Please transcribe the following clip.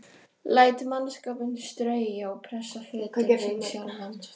Læt mannskapinn strauja og pressa fötin sín sjálfan.